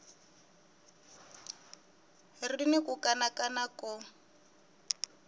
ri ni ku kanakana ko